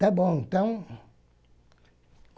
Tá bom, então?